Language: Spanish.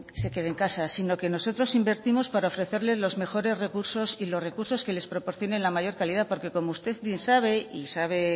se quede en casa sino que nosotros invertimos para ofrecerle los mejores recursos y los recursos que les proporcione la mayor calidad porque como usted bien sabe y sabe